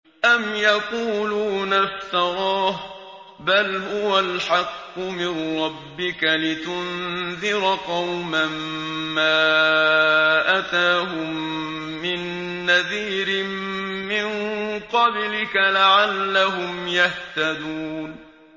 أَمْ يَقُولُونَ افْتَرَاهُ ۚ بَلْ هُوَ الْحَقُّ مِن رَّبِّكَ لِتُنذِرَ قَوْمًا مَّا أَتَاهُم مِّن نَّذِيرٍ مِّن قَبْلِكَ لَعَلَّهُمْ يَهْتَدُونَ